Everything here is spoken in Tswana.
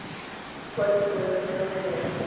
kwadiso yathulaganyo ya thuso ya